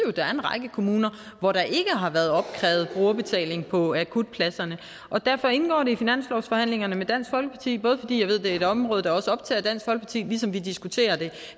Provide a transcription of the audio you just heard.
at der er en række kommuner hvor der ikke har været opkrævet brugerbetaling på akutpladserne og derfor indgår det i finanslovsforhandlingerne med dansk folkeparti både fordi jeg ved det er et område der også optager dansk folkeparti ligesom vi diskuterer det